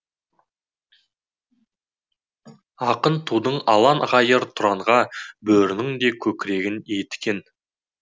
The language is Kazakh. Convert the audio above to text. ақын тудың ұлан ғайыр тұранға бөрінің де көкірегін иіткен